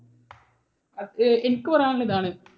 എനിക്ക് പറയാനുള്ളത് ഇതാണ്.